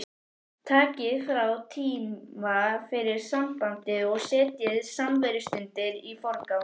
Takið frá tíma fyrir sambandið og setjið samverustundirnar í forgang